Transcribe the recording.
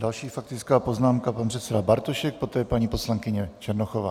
Další faktická poznámka, pan předseda Bartošek, poté paní poslankyně Černochová.